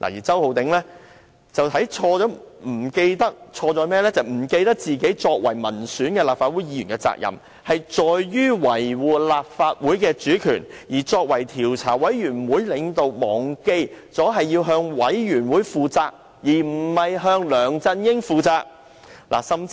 周浩鼎議員則錯在忘記自己作為民選立法會議員的責任，要維護立法會的主權，而作為專責委員會的領導，他忘記了自己不是向梁振英而是向委員會負責。